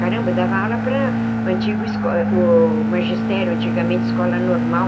Caramba, eu dava aula para o antigo esco o magistério, antigamente escola normal,